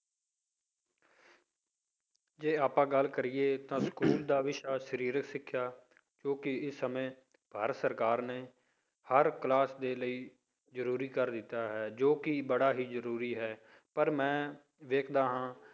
ਜੇ ਆਪਾਂ ਗੱਲ ਕਰੀਏ ਤਾਂ ਸਕੂਲ ਦਾ ਵਿਸ਼ਾ ਸਰੀਰਕ ਸਿੱਖਿਆ ਜੋ ਕਿ ਇਸ ਸਮੇਂ ਭਾਰਤ ਸਰਕਾਰ ਨੇ ਹਰ class ਦੇ ਲਈ ਜ਼ਰੂਰੀ ਕਰ ਦਿੱਤਾ ਹੈ, ਜੋ ਕਿ ਬੜਾ ਹੀ ਜ਼ਰੂਰੀ ਹੈ ਪਰ ਮੈਂ ਵੇਖਦਾ ਹੈ